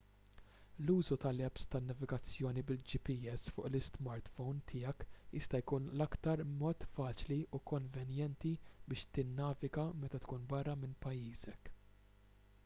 l-użu tal-apps tan-navigazzjoni bil-gps fuq l-ismartphome tiegħek jista' jkun l-aktar mod faċli u konvenjenti biex tinnaviga meta tkun barra minn pajjiżek